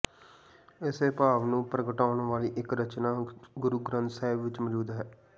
ਇਸੇ ਭਾਵ ਨੂੰ ਪ੍ਰਗਟਾਉਣ ਵਾਲੀ ਇੱਕ ਰਚਨਾ ਗੁਰੂ ਗ੍ਰੰਥ ਸਾਹਿਬ ਵਿੱਚ ਮੌਜੂਦ ਹੈ